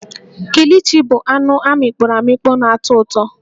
Kilichi bụ anụ amịkpọro amịkpọ na-atọ ụtọ